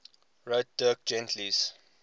wrote dirk gently's